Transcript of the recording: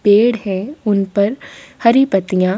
पेड़ हैं उन पर हरी पत्तियाँ --